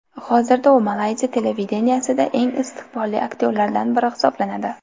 Hozirda u Malayziya televideniyesida eng istiqbolli aktyorlardan biri hisoblanadi.